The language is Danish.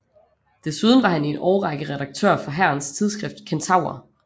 Desuden var han i en årrække redaktør for hærens tidsskrift Kentaur